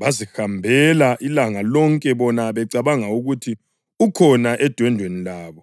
Bazihambela ilanga lonke bona becabanga ukuthi ukhona edwendweni lwabo.